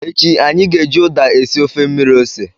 Echi, anyị ga-eji uda esi ofe mmiri ose.